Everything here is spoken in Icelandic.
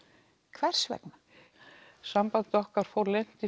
hvers vegna samband okkar fór leynt í